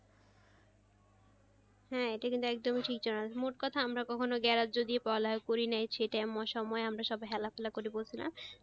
হ্যাঁ এটা কিন্তু একদমই ঠিক মোট কোথা আমরা মোট কোথা আমরা কখনো গ্রাহ্য দিয়ে বলা করি নাই অন্য সময়ে আমরা সবাই হেলা দুলা করে বসেছিলাম,